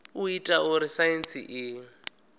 u ita uri saintsi i